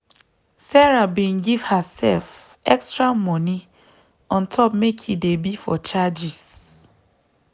sarah bin give herself extra moni on top make e dey be for charges.